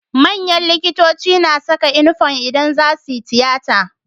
Manyan likitoci na Saka inufom idan zasuyi tiyata